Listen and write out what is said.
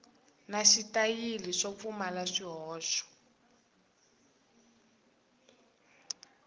na xitayili swo pfumala swihoxo